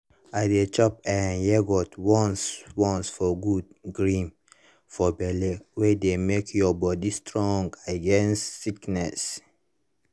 i dey chop eh yogurt once once for good germ for belle wey dey make your body strong against sickness.